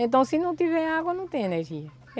Então, se não tiver água, não tem energia.